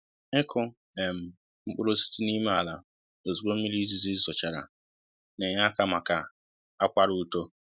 ịkụ um mkpụrụ osisi n'ime ala ozugbo mmiri izizi zochara, n'enye aka maka akwara uto